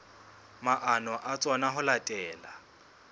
maano a tsona ho latela